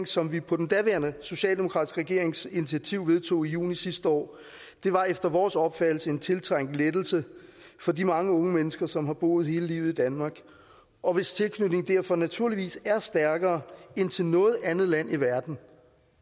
som vi på den daværende socialdemokratiske regerings initiativ vedtog i juni sidste år var efter vores opfattelse en tiltrængt lettelse for de mange unge mennesker som har boet hele livet i danmark og hvis tilknytning derfor naturligvis er stærkere end til noget andet land i verden